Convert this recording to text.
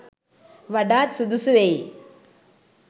වඩාත් සුදුසු වෙයි.